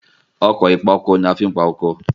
Ọkọ̀ ìpa oko ni a fi máa ń pa oko.